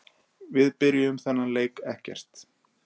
Við byrjuðum þennan leik ekkert.